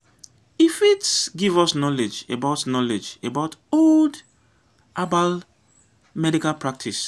e fit give us knowledge about knowledge about old herbal medical practice